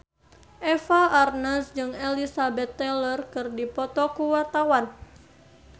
Eva Arnaz jeung Elizabeth Taylor keur dipoto ku wartawan